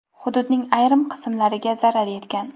Hududning ayrim qismlariga zarar yetgan.